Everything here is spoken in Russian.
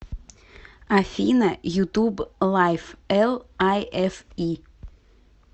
афина ютуб лайф эл ай эф и